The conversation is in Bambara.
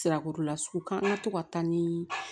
Sirako la sugu kan an ka to ka taa ni